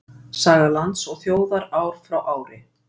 Saga lands og þjóðar ár frá ári.